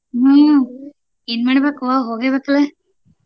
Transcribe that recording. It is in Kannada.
ಹ್ಮ್ ಏನ್ ಮಾಡ್ಬೇಕ್ವಾ ಹೋಗಬೇಕಲ್ಲ.